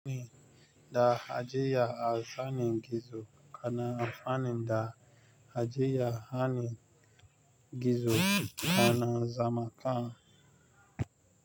Da ajiya a zane gizo, kana amfani da ajiya hanin gizo, kana zamaka.